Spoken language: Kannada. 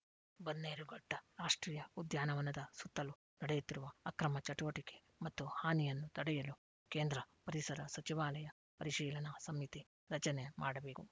ಬನ್ನೇರುಘಟ್ಟರಾಷ್ಟ್ರೀಯ ಉದ್ಯಾನವನದ ಸುತ್ತಲು ನಡೆಯುತ್ತಿರುವ ಅಕ್ರಮ ಚಟುವಟಿಕೆ ಮತ್ತು ಹಾನಿಯನ್ನು ತಡೆಯಲು ಕೇಂದ್ರ ಪರಿಸರ ಸಚಿವಾಲಯ ಪರಿಶೀಲನಾ ಸಮಿತಿ ರಚನೆ ಮಾಡಬೇಕು